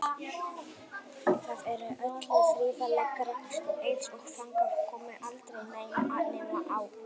Þar er öllu þrifalegra, eins og þangað komi aldrei neinn nema á tyllidögum.